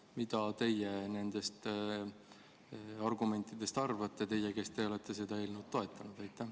Ja mida teie nendest argumentidest arvate – teie, kes te olete seda eelnõu toetanud?